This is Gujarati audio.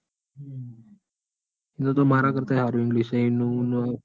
એને તો મારા કર્તાએ હારું english હે.